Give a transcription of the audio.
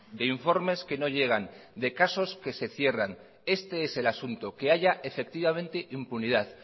de informes que no llegan de casos que se cierran este es el asunto que haya efectivamente impunidad